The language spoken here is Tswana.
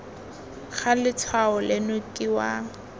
ga letshwao leno ke wa